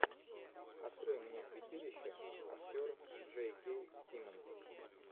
открой мне святилище актер джей кей симмонс